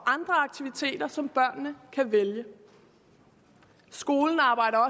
andre aktiviteter som børnene kan vælge skolen arbejder